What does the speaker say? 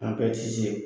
An bɛɛ ti se